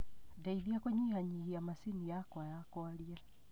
ndeithia kunyihia nyihia macini yakwa ya kwaria